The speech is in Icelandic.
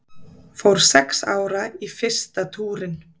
Fór sex ára í fyrsta túrinn